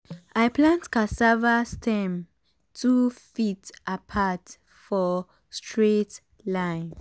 i plant cassava stem two feet apart for straight line.